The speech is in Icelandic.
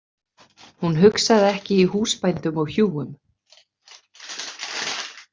Hún hugsaði ekki í húsbændum og hjúum.